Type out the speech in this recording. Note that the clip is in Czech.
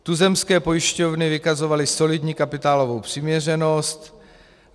Tuzemské pojišťovny vykazovaly solidní kapitálovou přiměřenost.